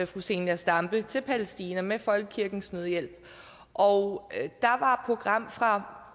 fru zenia stampe til palæstina med folkekirkens nødhjælp og der var program fra